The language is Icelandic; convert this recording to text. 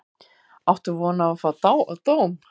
Áttu von á að fá dóm?